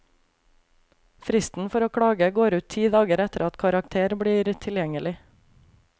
Fristen for å klage går ut ti dager etter at karakter blir tilgjengelig.